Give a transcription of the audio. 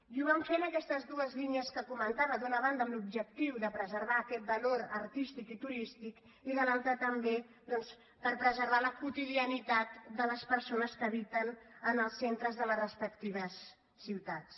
i ho van fer en aquestes dues línies que comentava d’una banda amb l’objectiu de preservar aquest valor artístic i turístic i de l’altra també doncs per preservar la quotidianitat de les persones que habiten en els centres de les respectives ciutats